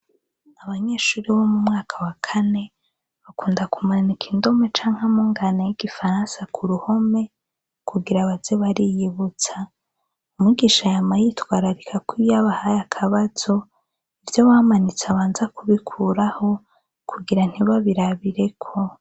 Abanyeshure bo mumwaka wakane bakunda kumanika indome canke amungane yigifaransa kuruhome kugira baze bariyibutsa umwigisha yama yitwararika ko iyo abahaye akabazo ivyo bamanitse abanza kubikuraho kugira ntibabirabireko